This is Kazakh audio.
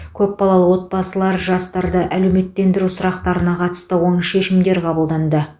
көпбалалы отбасылар жастарды әлеуметтендіру сұрақтарына қатысты оң шешімдер қабылданды